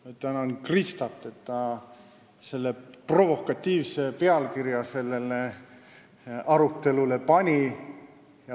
Ma tänan Kristat, et ta selle provokatiivse pealkirja sellele arutelule pani!